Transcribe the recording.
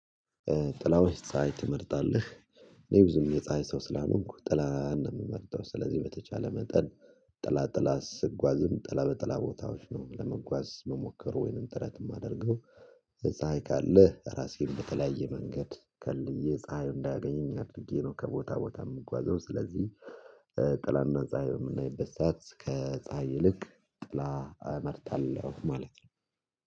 ጥላ ወይስ ፀሀይ ትመርጣለህ? እኔ ብዙም የፀሀይ ሰው ስላልሆንኩ ጥላ ነው የምመርጠው። ስለዚህ በተቻለ መጠን ጥላ ጥላ ስጓዝም ጥላ በጥላ ቦታዎች ነው ለመጓዝ እምሞከረው ወይንም ጥረት የማደርገው ፀሀይ ካለ ራሴን በተለያየ መንገድ ከልዬ ፀሀዩ እንዳያገኘኝ አድርጌ ነው ከቦታ ቦታ የምጓዘው ስለዚህ ጥላና ፀሀይ የምናይበት ሰዓት ከፀሀይ ይልቅ ጥላ ማለት ነው